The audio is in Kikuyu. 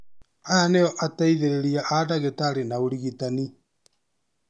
Aya nĩo ateithĩrĩria a dagĩtarĩ na ũrigitani